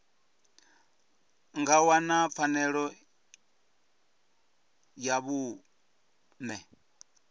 nga wana pfanelo ya vhuṋe